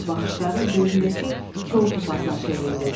Sonra baxışları böyüründəki kol topasına çevrildi.